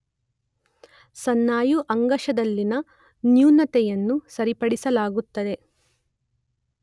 ಸ್ನಾಯು ಅಂಗಾಂಶದಲ್ಲಿನ ನ್ಯೂನತೆಯನ್ನು ಸರಿಪಡಿಸಲಾಗುತ್ತದೆ.